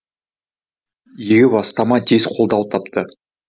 игі бастама тез қолдау тапты